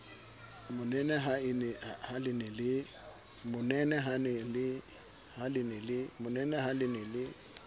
monene ha le ne le